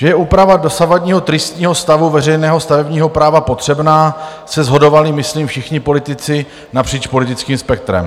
Že je úprava dosavadního tristního stavu veřejného stavebního práva potřebná, se shodovali, myslím, všichni politici napříč politickým spektrem.